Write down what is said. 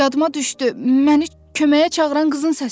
yadıma düşdü, məni köməyə çağıran qızın səsidir.